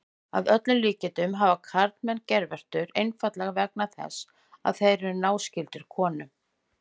Að öllum líkindum hafa karlmenn geirvörtur einfaldlega vegna þess að þeir eru náskyldir konum.